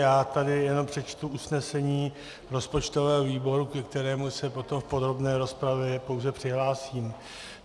Já tady jenom přečtu usnesení rozpočtového výboru, ke kterému se potom v podrobné rozpravě pouze přihlásím.